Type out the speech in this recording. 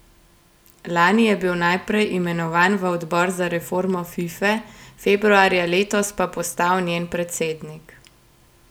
Lani je bil najprej imenovan v odbor za reformo Fife, februarja letos pa postal njen predsednik.